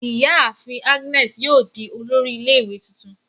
Iyaafin Agnes yoo di olori ile-iwe tuntun